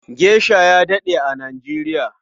Gesha ya daɗe a Nijeriya.